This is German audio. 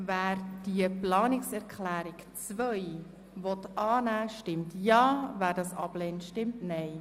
Wer die Planungserklärung 2 annehmen will, stimmt Ja, wer diese ablehnt, stimmt Nein.